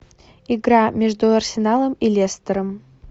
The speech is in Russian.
игра между арсеналом и лестером